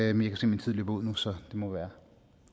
at min taletid løber ud nu så det må være